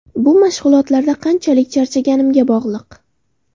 Bu mashg‘ulotlarda qanchalik charchaganimga bog‘liq.